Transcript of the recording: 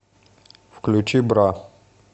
включи бра